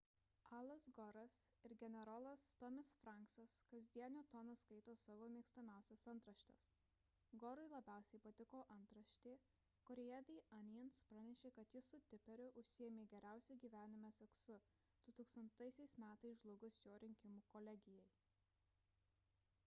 alas gore'as ir generolas tommy's franksas kasdieniu tonu skaito savo mėgstamiausias antraštes gore'ui labiausiai patiko antraštė kurioje the onions pranešė kad jis su tipperiu užsiėmė geriausiu gyvenime seksu 2000 m. žlugus jo rinkimų kolegijai